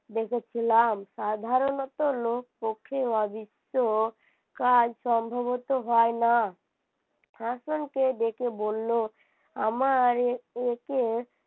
রেখেছিলাম সাধারণত লোক কাজ সম্ভবত হয় না হাসানকে দেখে বলল আমার একে